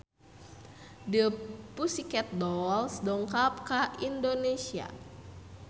The Pussycat Dolls dongkap ka Indonesia